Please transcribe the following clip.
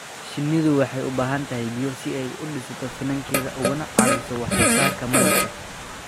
Shinnidu waxay u baahan tahay biyo si ay u dhisto finankeeda ugana caawiso wax soo saarka malabka.